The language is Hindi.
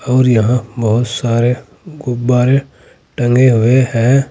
और यहां बहोत सारे गुब्बारे टंगे हुए है।